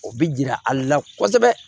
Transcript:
O bi jira ale la kosɛbɛ